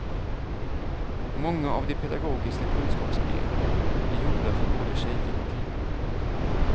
Många av de pedagogisk kunskapsspelen är gjorda för både tjejer och killar.